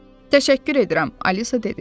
Təşəkkür edirəm, Alisa dedi.